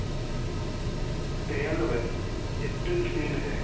ତେୟାଲବେ April ତିନି ରେ